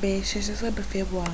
ב-16 בפברואר